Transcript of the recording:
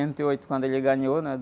e oito, quando ele ganhou, né?